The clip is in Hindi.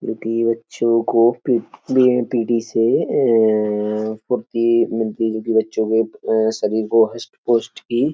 क्योंकि बच्चों को पी पीटी से अअअये फुर्ती मिलती जो कि बच्चों के अअये सभी को हशट पुष्ट की --